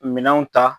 Minɛnw ta